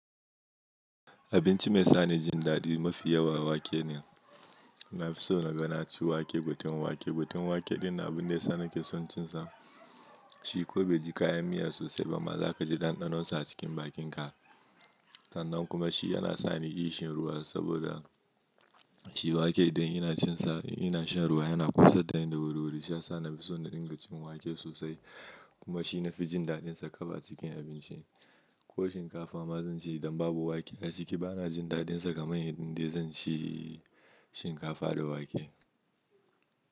Abinci mai sa ni jin daɗi mafi yawa wake ne. Na fi so na ga naci wake, gutin wake. Gutin wake ɗin abun da ya sa na ke son cinsa. Shi ko bai ji kayan miya sosai ba ma za ka ji ɗanɗanonsa a cikin bakinka. Sannan kuma shi yana sa ni ƙishin ruwa saboda shi wake idan ina cin sa, in ina shan ruwa yana ƙosar dani da wuri-wuri, shi yasa na fi so na dinga cin wake sosai. Kuma shi na fi jin daɗinsa kaf acikin abinci. Ko shinkafa ma zan ci idan babu wake a ciki, ba na jin daɗinsa kamar yadda zan ci shinkafa da wake.